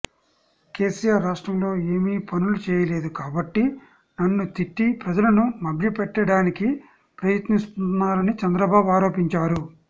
కేసీఆర్ రాష్ట్రంలో ఏమీ పనులు చేయలేదు కాబట్టి నన్ను తిట్టి ప్రజలను మభ్య పెట్టడానికి ప్రయత్నిస్తున్నారని చంద్రబాబు ఆరోపించారు